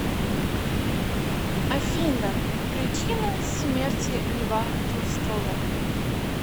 афина причина смерти льва толстого